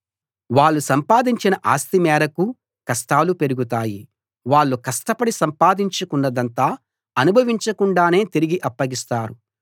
వాళ్ళు సంపాదించిన ఆస్తి మేరకు కష్టాలు పెరుగుతాయి వాళ్ళు కష్టపడి సంపాదించుకున్నదంతా అనుభవించకుండానే తిరిగి అప్పగిస్తారు